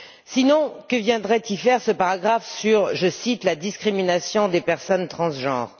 Sinon, que viendrait y faire ce paragraphe sur je cite la discrimination des personnes transgenres?